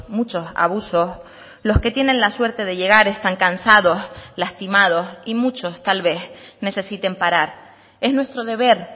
muchos abusos los que tienen la suerte de llegar están cansados lastimados y muchos tal vez necesiten parar es nuestro deber